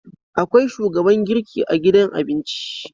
Akwai shugaban girki a gidan abinci